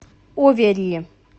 оверри